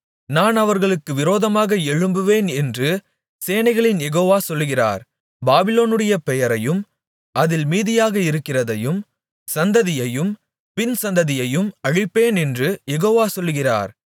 நான் அவர்களுக்கு விரோதமாக எழும்புவேன் என்று சேனைகளின் யெகோவா சொல்கிறார் பாபிலோனுடைய பெயரையும் அதில் மீதியாக இருக்கிறதையும் சந்ததியையும் பின்சந்ததியையும் அழிப்பேனென்று யெகோவா சொல்கிறார்